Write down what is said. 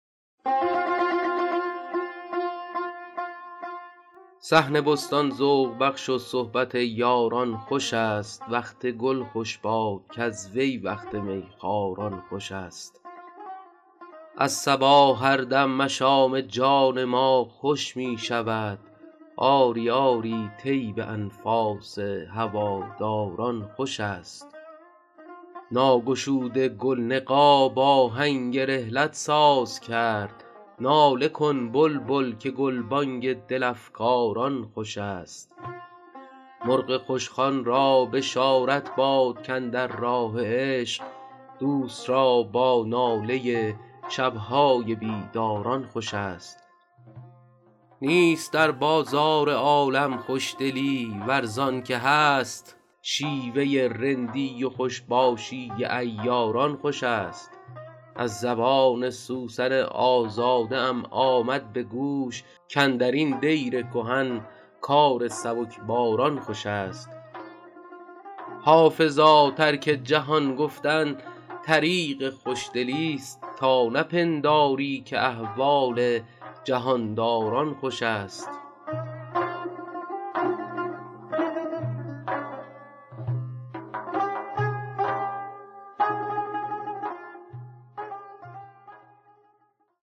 صحن بستان ذوق بخش و صحبت یاران خوش است وقت گل خوش باد کز وی وقت می خواران خوش است از صبا هر دم مشام جان ما خوش می شود آری آری طیب انفاس هواداران خوش است ناگشوده گل نقاب آهنگ رحلت ساز کرد ناله کن بلبل که گلبانگ دل افکاران خوش است مرغ خوشخوان را بشارت باد کاندر راه عشق دوست را با ناله شب های بیداران خوش است نیست در بازار عالم خوشدلی ور زان که هست شیوه رندی و خوش باشی عیاران خوش است از زبان سوسن آزاده ام آمد به گوش کاندر این دیر کهن کار سبکباران خوش است حافظا ترک جهان گفتن طریق خوشدلیست تا نپنداری که احوال جهان داران خوش است